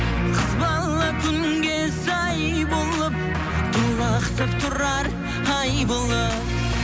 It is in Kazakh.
қыз бала күнге сай болып толықсып тұрар ай болып